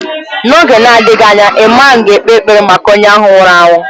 N’oge na-adịghị anya, ịman ga-ekpe ekpere maka onye ahụ nwụrụ anwụ.